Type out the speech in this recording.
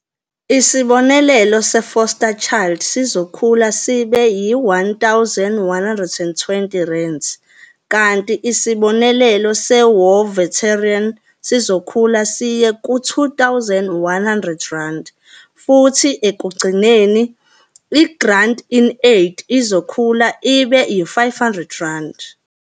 Isibonelelo se-Foster Child sizokhula sibe yi-R1120, kanti isibonelelo se-War Veteran sizokhula siye ku-R2100 futhi ekugcineni, i-Grant-In-Aid izokhula ibe yi-R500.